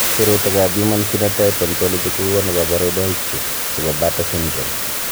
Sirutikab Human Phenotype Ontology kokonu koborunoikchu chebo Bartter syndrome.